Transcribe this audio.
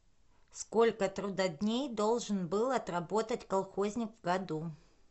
сколько трудодней должен был отработать колхозник в году